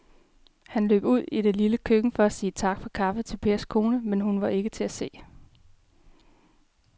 Han løb ud i det lille køkken for at sige tak for kaffe til Pers kone, men hun var ikke til at se.